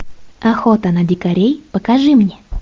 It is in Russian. охота на дикарей покажи мне